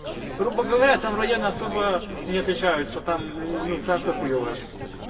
грубо говоря там районы особо не отличаются там ну там всёхуёвое